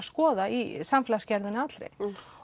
skoða í samfélagsgerðinni allri